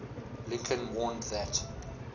lincoln warned that